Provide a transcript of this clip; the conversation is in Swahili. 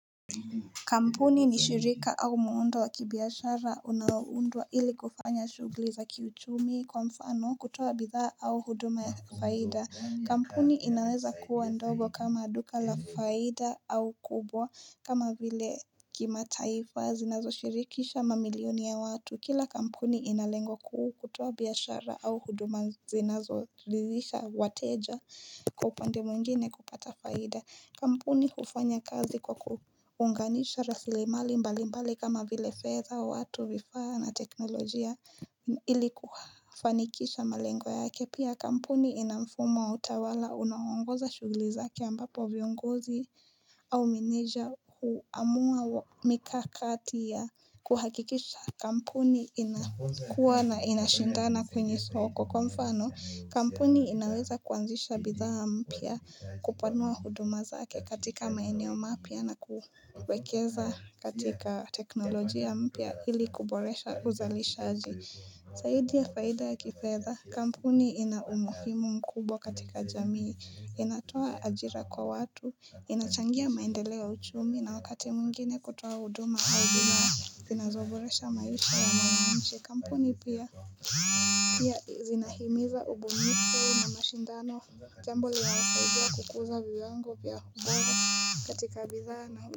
Kampuni ni shirika au muundo wa kibiashara unaoundwa ili kufanya shugli za kiuchumi kwa mfano kutoa bidhaa au huduma ya faida. Kampuni inaweza kuwa ndogo kama duka la faida au kubwa kama vile kimataifa zinazoshirikisha mamilioni ya watu. Kila kampuni ina lengo kuu kutoa biashara au huduma zinazo dhirisha wateja kwa upande mwengine kupata faida. Kampuni hufanya kazi kwa kuunganisha rasilimali mbali mbali kama vile fedha watu vifaa na teknolojia ili kufanikisha malengo yake Pia kampuni ina mfumo wa utawala unaongoza shuguli zake ambapo viongozi au meneja huamua mikakati ya kuhakikisha kampuni inakuwa na inashindana kwenye soko kwa mfano kampuni inaweza kuanzisha bidhaa mpya kupanua huduma zake katika maeneo mapya na kuwekeza katika teknolojia mpya hili kuboresha uzalishaji. Saidi ya faida ya kifedha, kampuni ina umuhimu mkubwa katika jamii. Inatoa ajira kwa watu, inachangia maendeleo ya uchumi na wakati mwingine kutowa huduma au bidhaa zinazoboresha maisha ya mwananchi. Kampuni pia zinahimiza ubunifu na mashindano jambo linao saidia kukuza viwango pia ubora katika bidhaa na.